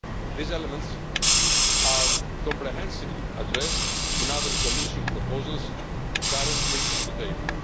These elements are comprehensively addressed in other Commission proposals currently on the table.